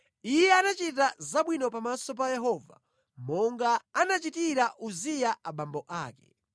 Iye anachita zabwino pamaso pa Yehova monga anachitira Uziya abambo ake.